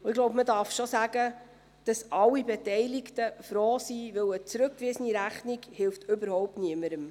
Ich glaube, man darf schon sagen, dass alle Beteiligten froh sind, denn eine zurückgewiesene Rechnung hilft überhaupt niemandem.